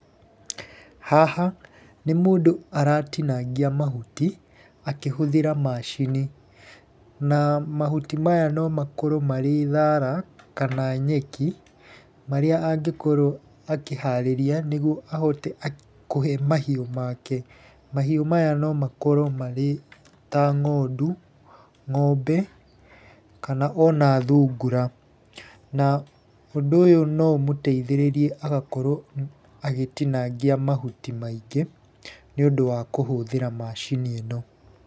Haha, nĩ mũndũ aratinangia mahuti, akĩhũthĩra macini. Na mahuti maya no makorwo marĩ thaara, kana nyeki marĩa angĩkorwo akĩharĩria nĩguo ahote kũhe mahiũ make. Mahiũ maya no makorwo marĩ ta ng'ondu, ng'ombe, kana ona thungura. Na ũndũ ũyũ no ũmeteithĩrĩrie agakorwo agĩtinangia mahuti maingĩ nĩũndũ wa kũhũthĩra macini ĩno.